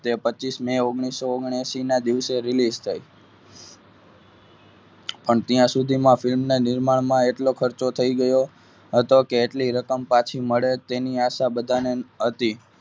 એ પચીસ મે ઓગણીસો ઓગ્નાએસીના દિવસે release થ પણ ત્યાં સુધી film ના નિર્માણમાં આટલો ખર્ચો થઈ ગયો હતો કે એટલી રકમ પાછી મળે તેની આશા બધાને હતી.